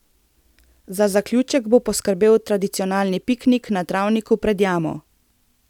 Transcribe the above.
Za zaključek bo poskrbel tradicionalni piknik na travniku pred jamo.